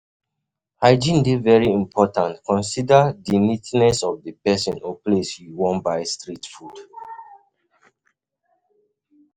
Hygiene dey very important, consider um di neatness of di person or place where you wan buy street food